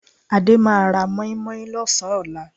Adé máa ra mọ́ímọ́í lọ́sàn-án ọ̀la